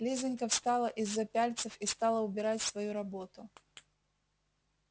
лизанька встала из-за пяльцев и стала убирать свою работу